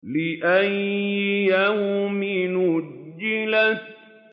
لِأَيِّ يَوْمٍ أُجِّلَتْ